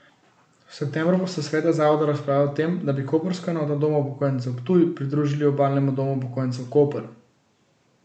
V septembru bosta sveta zavodov razpravljala o tem, da bi koprsko enoto Doma upokojencev Ptuj pridružili Obalnemu domu upokojencev Koper.